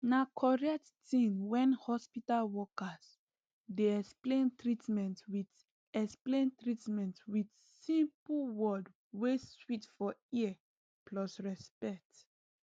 na correct tin when hospital workers dey explain treatment with explain treatment with simple word wey sweet for ear plus respect